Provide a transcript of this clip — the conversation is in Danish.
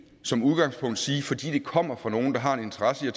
som udgangspunkt sige at fordi det kommer fra nogle der har en interesse i